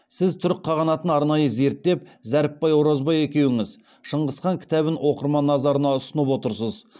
сіз түрік қағанатын арнайы зерттеп зәріпбай оразбай екеуіңіз шыңғыс хан кітабын оқырман назарына ұсынып отырсыз